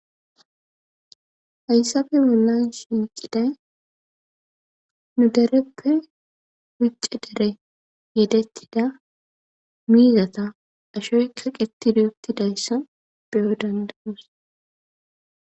Haysafe bollan shinciday nu dereppe wicce dere yedettida miizata ashoy kiqetidi uttidayssa beyo dandanoos.